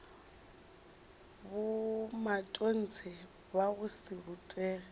bomatontshe ba go se rutege